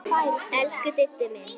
Elsku Diddi minn.